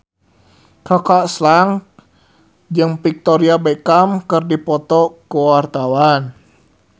Kaka Slank jeung Victoria Beckham keur dipoto ku wartawan